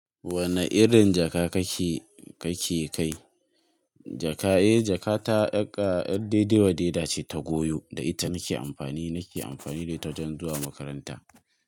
Wane irin jaka kake, kake kai? Jaka, eh jakata ƴar dai-dai-wa-dai-da ce ta goyo da ita nake amfani, nake amfani da ita wajen zuwa makaranta.